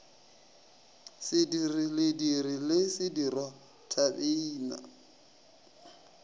sediri lediri le sedirwa thabeina